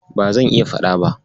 Ba zan iya faɗa ba.